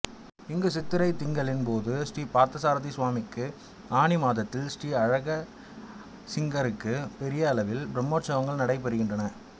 இங்கு சித்திரைத் திங்களின் போது ஸ்ரீ பார்த்தசாரதி சுவாமிக்கும் ஆனி மாதத்தில் ஸ்ரீ அழகியசிங்கருக்கும் பெரிய அளவில் பிரம்மோற்சவங்கள் நடைபெறுகின்றன